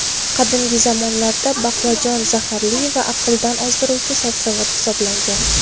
Qadimgi zamonlarda baqlajon zaharli va aqldan ozdiruvchi sabzavot hisoblangan.